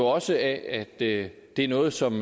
også af at det er noget som